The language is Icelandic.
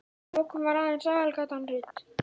Að lokum var aðeins aðalgatan rudd.